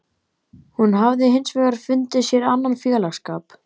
Hún hafði hins vegar fundið sér annan félagsskap.